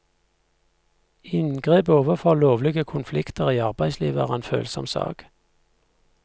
Inngrep overfor lovlige konflikter i arbeidslivet er en følsom sak.